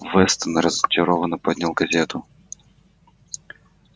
вестон разочарованно поднял газету